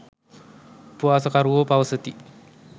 උපවාසකරුවෝ පවසති.